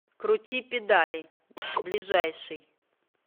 крути педали ближайший